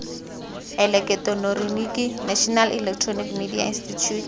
eleketeroniki national electronic media institute